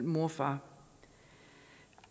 mor og far